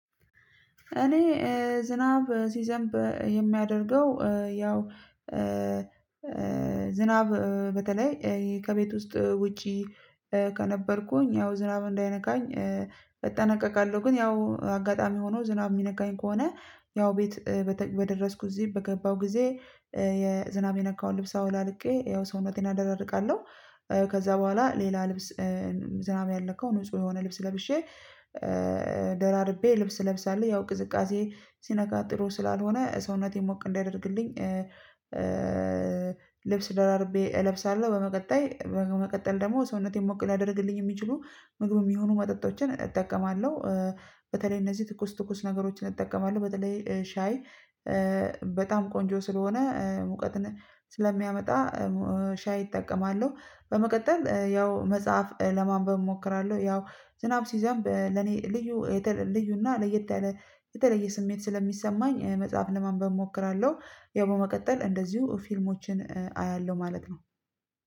እኔ ዝናብ ሲዘንብ የማደርገው ያው ዝናብ በተለይ ከቤት ውስጥ ውጪ ከነበርኩኝ ያው ዝናብ እንዳይነካኝ እጠነቀቃለሁ ግን ያው አጋጣሚ ሆኖ ዝናብ የሚነካኝ ከሆነ ያው ቤት በደረስኩ እዚህ በገባሁ ጊዜ ዝናብ የነካውን ልብስ አወላልቄ ያው ሰውነቴን አደራርቃለሁ። ከዛ በኋላ ሌላ ልብስ ዝናብ ያልነካው ንጹህ የሆነ ልብስ ለብሼ ደራርቤ ልብስ ለብሳለሁ ያው ቅዝቃዜ ሲነካ ጥሩ ስላልሆነ ሰውነቴን ሞቅ እንዲያደርግልኝ ልብስ ደራርቤ እለብሳለሁ። በመቀጠል በመቀጠል ደግሞ ሰውነቴን ሞቅ ሊያደርጉልኝ የሚችሉ ምግብም ይሁኑ መጠጦችን እጠቀማለሁ። በተለይ እነዚህ ትኩስ ትኩስ ነገሮችን እጠቀማለሁ በተለይ ሻይ በጣም ቆንጆ ስለሆነ ሙቀትን ስለሚያመጣ ሻይ እጠቀማለሁ። በመቀጠል ያው መጽሐፍ ለማንበብ እሞክራለሁ ያው ዝናብ ሲዘንብ ለኔ ልዩ ልዩና ለየት ያለ የተለየ ስሜት ስለሚሰማኝ መጽሐፍ ለማንበብ እሞክራለሁ። ያው በመቀጠል እንደዚሁ ፊልሞችን አያለሁ ማለት ነው